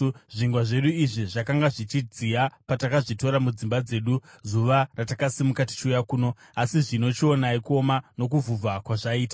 Zvingwa zvedu izvi zvakanga zvichidziya patakazvitora mudzimba dzedu zuva ratakasimuka tichiuya kuno. Asi zvino chionai kuoma nokuvhuvha kwazvaita.